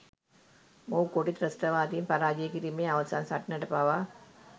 මොහු කොටි ත්‍රස්‌තවාදීන් පරාජය කිරීමේ අවසන් සටනට පවා